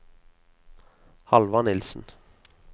Halvard Nielsen